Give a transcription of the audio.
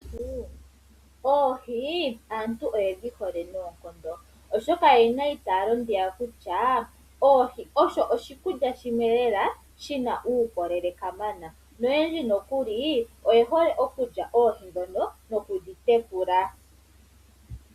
Oohi aantu oyedhi hole noonkondo, oshoka oye na eitaalo ndika kutya oohi osho oshikulya shimwe lela shi na uukolele kamana noyendji nokuli oye hole okulya oohi ndhono nokudhi tekula.